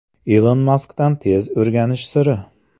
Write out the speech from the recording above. Ilon Maskdan tez o‘rganish siri.